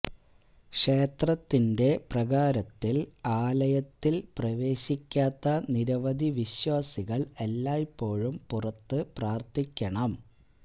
ക്ഷേത്രത്തിന്റെ പ്രാകാരത്തിൽ ആലയത്തിൽ പ്രവേശിക്കാത്ത നിരവധി വിശ്വാസികൾ എല്ലായ്പോഴും പുറത്ത് പ്രാര്ത്ഥിക്കണം